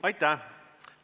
Aitäh!